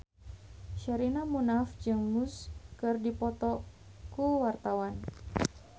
Sherina Munaf jeung Muse keur dipoto ku wartawan